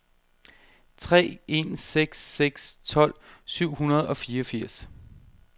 tre en seks seks tolv syv hundrede og fireogfirs